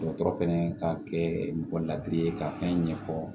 Dɔgɔtɔrɔ fɛnɛ ka kɛ mɔgɔ ladi ye ka fɛn ɲɛfɔ